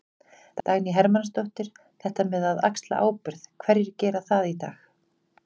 Dagný Hermannsdóttir: Þetta með að axla ábyrgð, hverjir gera það í dag?